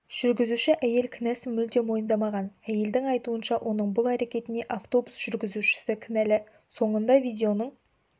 жүргізуші әйел кінәсін мүлде мойындамаған әйелдің айтуынша оның бұл әрекетіне автобус жүргізушісі кінәлі соңында видеоның